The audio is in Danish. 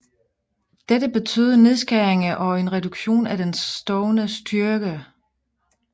Dette betød nedskæringer og en reduktion af den stående styrke